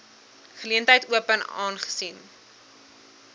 geleentheid open aangesien